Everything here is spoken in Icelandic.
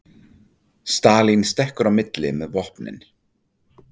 Stalín stekkur í milli með vopnin